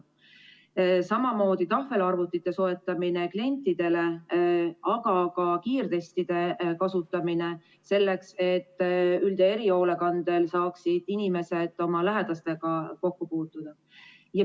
Samuti tahvelarvutite soetamine klientidele, aga ka kiirtestide kasutamine selleks, et üld- ja erihoolekandel olevad inimesed saaksid oma lähedastega kokku.